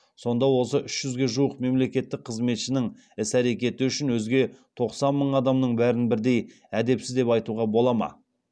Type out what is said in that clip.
сонда осы үш жүзге жуық мемлекеттік қызметшінің іс әрекеті үшін өзге тоқсан мың адамның бәрін бірдей әдепсіз деп айтуға бола ма